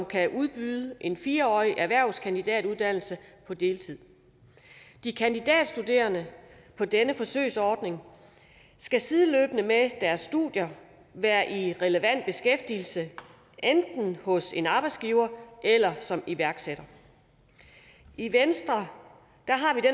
kan udbydes en fire årig erhvervskandidatuddannelse på deltid de kandidatstuderende på denne forsøgsordning skal sideløbende med deres studier være i relevant beskæftigelse enten hos en arbejdsgiver eller som iværksætter i venstre